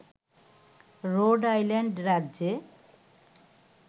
road Island রাজ্যে